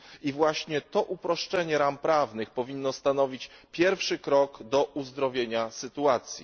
I właśnie to uproszczenie ram prawnych powinno stanowić pierwszy krok do uzdrowienia sytuacji.